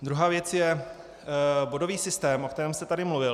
Druhá věc je bodový systém, o kterém jste tady mluvil.